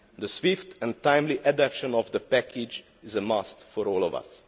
The swift and timely adoption of the package is a must for all of us.